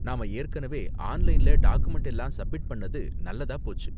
நாம ஏற்கனவே ஆன்லைன்ல டாக்குமென்ட் எல்லாம் சப்மிட் பண்ணுனது நல்லதா போச்சு.